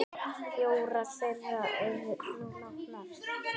Fjórar þeirra eru nú látnar.